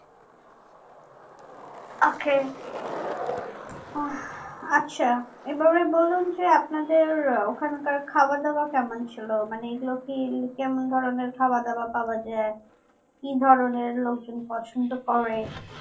ok আহ আচ্ছা এভাবে বলুন যে আপনাদের ওখান কার খাবার দাবার কেমন ছিল মানে এগুলো কি কেমন ধরণের খাবার দাবার পাওয়া যাই কি ধরণের লোকজন পছন্দ করে